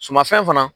Sumafɛn fana